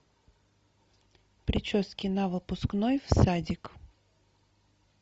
прически на выпускной в садик